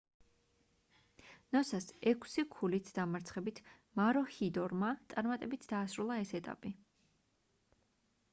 ნოსას ექვსი ქულით დამარცხებით მაროჰიდორმა წარმატებით დაასრულა ეს ეტაპი